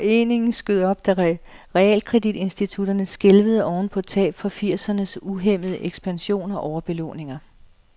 Foreningen skød op, da realkreditinstitutterne skælvede oven på tab fra firsernes uhæmmede ekspansion og overbelåninger.